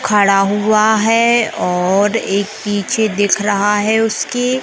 खड़ा हुआ है और एक पीछे दिख रहा है उसके--